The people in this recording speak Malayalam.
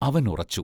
അവൻ ഉറച്ചു.